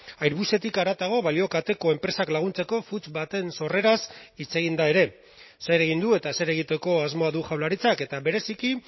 airbusetik haratago balio kateko enpresak laguntzeko funts baten sorreraz hitz egin da ere zer egin du eta zer egiteko asmoa du jaurlaritzak eta bereziki